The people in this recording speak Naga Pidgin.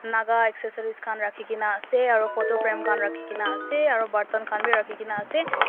naga accessories khan rakhikae na ase aro photo frame khan rakhikaena ase aro borton khan bi rakhikaena asearo.